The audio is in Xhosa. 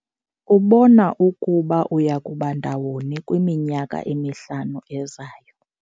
Ubona ukuba uya kuba undawoni kwiminyaka emihlanu ezayo?